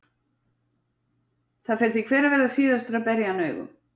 Það fer því hver að verða síðastur að berja hann augum.